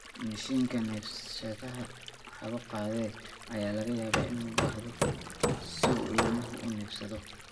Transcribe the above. Mashiinka neefsashada (hawo-qaade) ayaa laga yaabaa in loo baahdo si uu ilmuhu u neefsado.